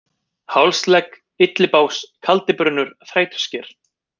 Hálsegg, Illibás, Kaldibrunnur, Þrætusker